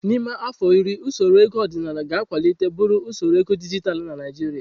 N'ime afọ iri, usoro ego ọdịnala ga-akwalite buru usoro ego dijitalụ na Naijiria.